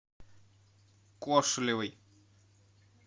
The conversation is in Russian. кошелевой